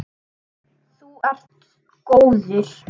Þú ert góður.